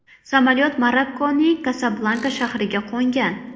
Samolyot Marokkoning Kasablanka shahriga qo‘ngan.